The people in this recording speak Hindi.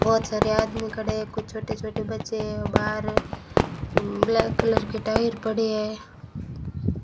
बहुत सारे आदमी खड़े हैं कुछ छोटे छोटे बच्चे है बाहर है ब्लैक कलर के टायर पड़े हैं।